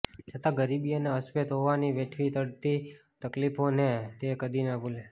છતાં ગરીબી અને અશ્વેત હોવાની વેઠવી પડતી તકલીફોને તે કદી ના ભૂલી